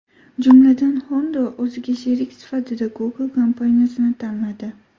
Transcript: Jumladan, Honda o‘ziga sherik sifatida Google kompaniyasini tanladi.